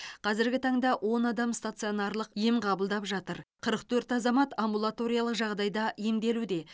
қазіргі таңда он адам стационарлық ем қабылдап жатыр қырық төрт азамат амбулаториялық жағдайда емделуде